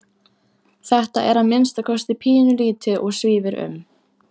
Þetta er að minnsta kosti pínulítið og svífur um.